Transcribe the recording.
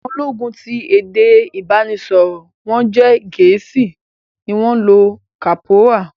Àwọn ológun ti èdè ìbánisọ̀rò wọ́n jẹ́ Gẹ̀ẹ́sì ni wọ́n lo lansi kọ́pórà